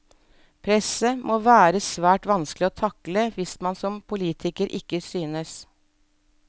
Presset må være svært vanskelig å takle hvis man som politiker ikke synes.